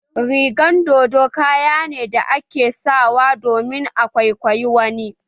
Rigan dodo kaya ne da ake sawa don a kwaikwayi wani